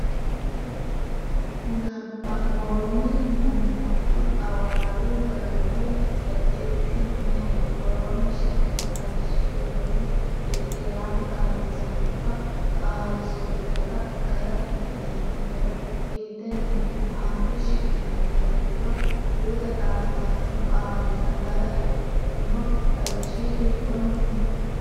Nabbanboonni Mommoddo Xawadu garinni daqiiqi me”eho? Woroonni shiqino xawishshi giddonni irki’raano xaadisaanora (qaali- suuddara) gara ikkitino hedo hiittenneeti? Aante shiqqino hedo giddo guuta xaadisaano qaallara gara ikkino xawishshi hiikkonneeti?.